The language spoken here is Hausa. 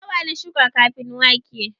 Dawa na shuka kafin wake